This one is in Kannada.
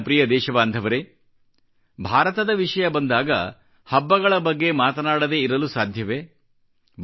ನನ್ನ ಪ್ರಿಯ ದೇಶಬಾಂಧವರೆ ಭಾರತದ ವಿಷಯ ಬಂದಾಗ ಹಬ್ಬಗಳ ಬಗ್ಗೆ ಮಾತನಾಡದೇ ಇರಲು ಸಾಧ್ಯವೇ